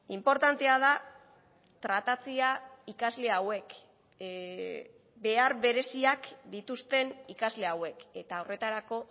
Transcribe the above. inportantea da tratatzea ikasle hauek behar bereziak dituzten ikasle hauek eta horretarako